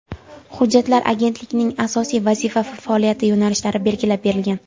Hujjatda agentlikning asosiy vazifa va faoliyat yo‘nalishlari belgilab berilgan.